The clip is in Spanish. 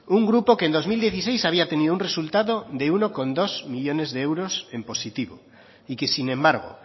un grupo que en dos mil dieciséis había tenido un resultado de uno coma dos millónes de euros en positivo y que sin embargo